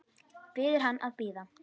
Biður hann að bíða.